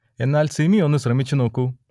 എന്നാൽ സിമി ഒന്നു ശ്രമിച്ചു നോക്കൂ